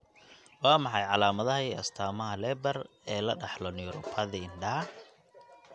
Waa maxay calaamadaha iyo astaamaha Leber ee la dhaxlo neuropathy indhaha?